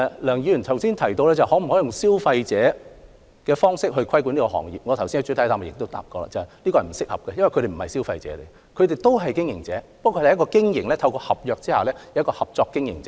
梁議員剛才提及能否以保障消費者的方式規管這行業，我剛才在主體答覆也提到，有關做法並不合適，因為特許加盟者並非消費者，他們亦為經營者，不過他們是透過合約合作的經營者。